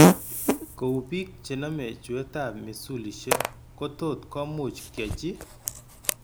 Kou, bik chename chuetab misulishek ko tot komuch kyachi